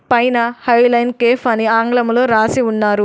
పైన high line cafe అని ఆంగ్లములో రాసి ఉన్నారు.